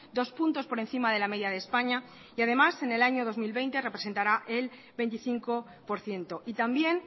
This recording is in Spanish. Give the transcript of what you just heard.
dos puntos por encima de la media de españa y además en el año dos mil veinte representará el veinticinco por ciento y también